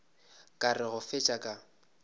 ka re go fetša ka